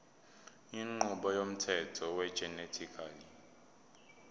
inqubo yomthetho wegenetically